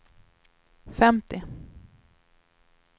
femtio